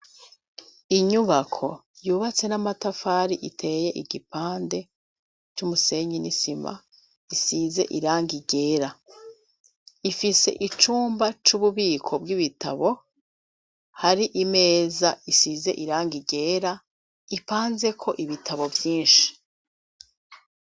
Inyubako yubatse n'amatafari iteye igipande c'umusenyi n'isima isize iranga igera ifise icumba c'ububiko bw'ibitabo hari imeza isize iranga igera ipanze ko ibitabo vyinshi.